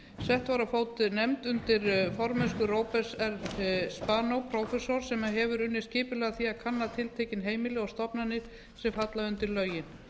sett var á fót nefnd undir formennsku róberts r spanó prófessors sem hefur unnið skipulega að því að kanna tiltekin heimili og stofnanir sem falla undir lögin